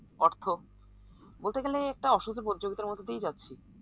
অর্থ বলতে গেলে এই একটা অসুখী প্রতিযোগিতার মধ্যে দিয়েই যাচ্ছি